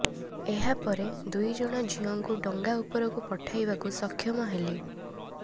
ଏହାପରେ ଦୁଇ ଜଣ ଝିଅଙ୍କୁ ଡଙ୍ଗା ଉପରକୁ ପଠାଇବାକୁ ସକ୍ଷମ ହେଲି